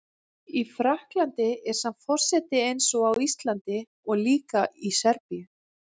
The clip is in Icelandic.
Í Frakklandi er samt forseti eins og á Íslandi og líka í Serbíu